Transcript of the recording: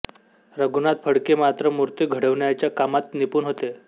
रघुनाथ फडके मात्र मूर्ती घडवण्याच्या कामात निपुण होते